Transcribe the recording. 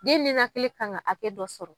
Den ninakili kan ka hakɛ dɔ sɔrɔ.